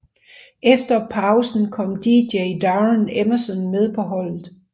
Efter pausen kom Dj Darren Emmerson med på holdet